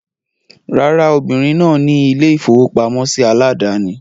Rárá, obìrin náà ni ilé-ìfowópamọ́sí aládàání.